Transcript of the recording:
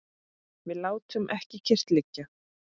Við látum ekki kyrrt liggja.